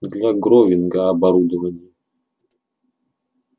для гровинга оборудование